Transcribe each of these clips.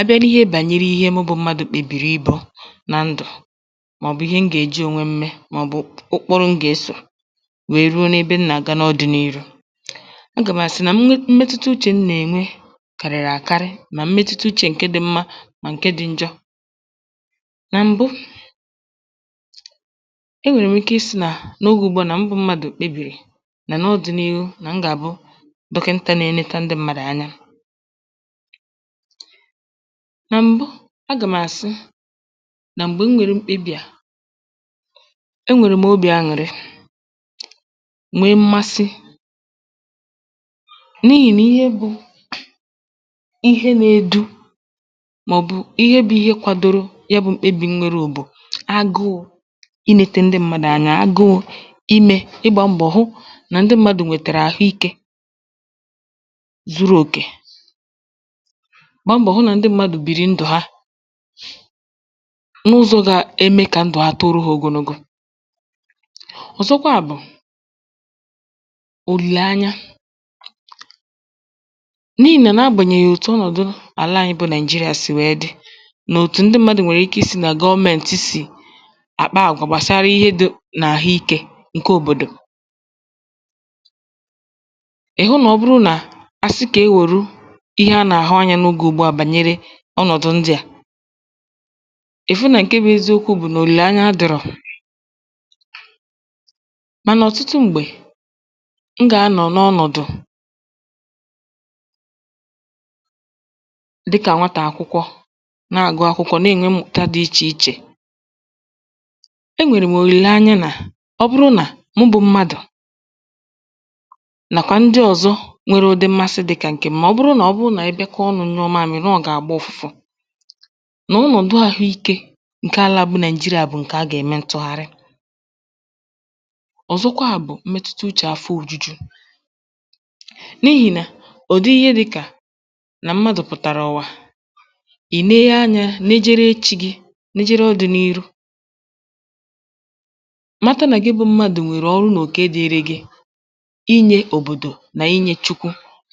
Abịa nà ihe mụ bụ̀ m̀madụ̇ kpèbìrì ịbụ̇ nà ǹdụ, màọbụm ihe m gà-eji ònwè m mee, màọbụ ụkpụrụ m gà-esȯ wee ruo nà-ebe m nà-àga n’ọdịniru um Agȧm a sị nà m̀mẹtụtà uchė m nà-enwè, kàrịrị àkarị, mà m̀mẹtụtà uchė ǹkẹ̀ dị mma, mà ǹkè dị ǹjọ̇, nà m̀bụ e nwèrè m ike ị sị nà n’ogè ùgbu a nà m bụ̀ m̀madụ̇ kpèbìrì nà n’ọdịniru, nà m gà-àbụ dọ̀kịnta nà-eleta ǹdị mmaàrà anya. Nà m̀bụ, agà m àsị nà m̀gbè m nwèrè mkpebi à, e nwèrè m obi̇ aṅụrị, nwee m̀ mmasị n’ihi nà ihe bụ̇ ihe nȧ-edu̇,(um) màọbụ̇ ihe bụ̇ ihe kwàdòrò ya. Bụ̀ m̀kpèbì, m nwèrè bụ̀ agụụ inete ǹdị m̀madụ̀ anya, agụụ ime ịgbȧ m̀gbọ̀, hụ nà ǹdị m̀madụ̇ nwètèrè àhụike zuru òkè, gbàambọ̀ hụ nà ǹdị m̀madụ̇ bìrì ǹdụ̀ ha n’ụzọ̇ gà-eme, kà ǹdụ̀ ha tòrò ha ogologo... Ọ̀zọ̀kwa bụ̀ òlìlanya. N’ihi nà nà-agbànyèghì òtù ọ̀nọ̀dụ alà anyị bụ̀ Naịjirịa, sì wèe dị nà òtù ǹdị m̀madụ̇ nwèrè ike isi nà gọmeentị, sì àkpà agwà gbàsàrà ihe dị n’àhụike ǹkẹ̀ òbòdò. Ọnọ̀dụ̀ ǹdị a, ị fụ nà ǹkẹ̀ bụ̀ eziokwu̇, bụ̀ nà òlìlè anya dịrọ. um Mànà, ọ̀tụtụ m̀gbè, m gà-anọ̀ n’ọnọ̀dụ̀ dịkà ànwàtà akwụkwọ, nà-agụ akwụkwọ, nà ẹ nwẹ m̀mụ̀kta dị ichèichè. E nwèrè m òlìlè anya nà ọ bụrụ nà mụ bụ m̀madụ̇, nàkwà ǹdị ọ̀zọ nwere ụdị mmasị dịkà ǹkẹ̀ m̀.. Nà ọnọ̀dụ àhụike, ǹkẹ̀ àlà bụ̀ Naịjirịa,(um) bụ̀ ǹkẹ̀ a gà-eme ntụ̀gharị. Ọ̀zọ̀kwa bụ̀ m̀mẹtụta uchė àfọ òjuju. N’ihi nà ụdị ihe dịkȧ nà m̀madụ̇ pụ̀tàrà ụ̀wa, i lenye anya, nejere chi̇ gị, nejere ọdịnihu̇. um Mata nà, ga-ebù m̀madụ̇ nwèrè ọrụ n’oke dị ere gị, inye òbòdò nà inye Chukwu,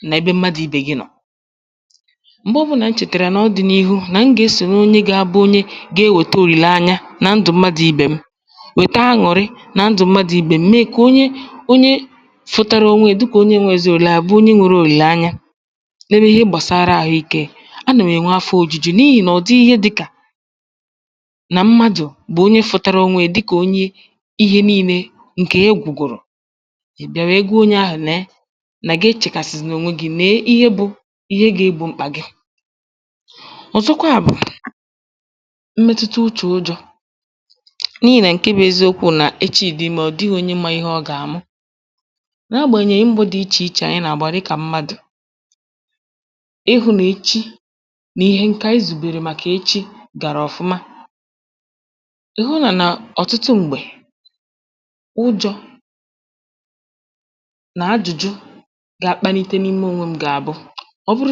nà ebe m̀madụ̇ ibė gị nọ̀. M̀gbè ọbụlà, m chètàrà nà ọdịnihu, na m gà-esòrò onye gà-abụ onye gà-ewète òlìlanya nà ndụ̀ m̀madụ̇ ibė m. Wèta aṅụrị nà ndụ̀ m̀madụ̇ ibė m, mee kà onye onye fụ̀tàrà um ònwè yà dịkȧ onye nwè eziolùlà, àbụ onye nwèrè òlìlanya... N’ebe ihe gbàsàrà àhụikė, anà m enwe afọ ojuju, n’ihi nà ọ dị ihe dịkȧ nà m̀madụ̇ bụ̀ onye fụtàrà ònwè yà dịkȧ onye, ihe niile nkè ya egwùgwùrù bịa wee gwuo onye ahụ̀, lee na gà-echèkàsịzina ònwè gị mee ihe. Bụ̀ ọ̀zọ̀kwa bụ̀ m̀mẹtụta uchȧ ụjọ̇, n’ihi nà ǹke bụ̇ eziokwu̇, nà echi̇ dị̀ ime, ọ̀ dịghị onye mà ihe ọ gà-amụ um N’agbànyèghì m̀bụ̀ dị ichè ichè, anyị nà-agbàrị kà m̀madụ̇ ịhụ̇ nà echi̇ nà ihe ǹkẹ̀ ànyị zùbèrè, màkà echi̇ gàrà ọ̀fụma. Ị hụ nà nà ọ̀tụtụ m̀gbè, ụjọ̇ nà ajụ̇jụ̇ gà-akpàlite n’ime ònwe m, gà-àbụ ǹdụ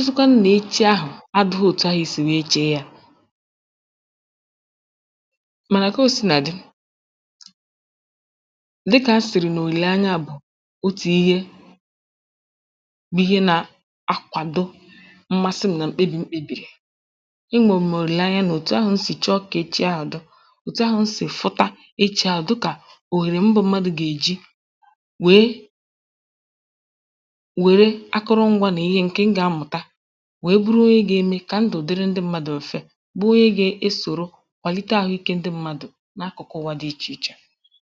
ha òtù ahụ̀ sì wee chee ya... Mànà, kà ha si nà di̇, dịkà ha sìrì nà òlìlanya, bụ̀ òtù ihe bụ̀ ihe nà-akwàdo m̀ mmasị m nà m̀kpebi̇ m kpėbìrì. E nwèrè m òlìlanya nà òtù ahụ̀, m sì chọọ kà e chi ahụ̇ dụ̀ òtù ahụ̀ m si fụta echi̇lȧ um Dụ̀kà òhèrè m bụ̇ m̀madụ̇ gà-eji wèe wèe akụrụngwȧ nà ihe ǹkè m gà-amụ̀ta, bụ̀ onye ga-esòrò kwàlite àhụikė ndị mmadụ̀ n’akụ̀kụ̀ ụwà dị ichèichè.